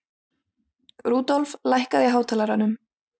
Rudolf, lækkaðu í hátalaranum.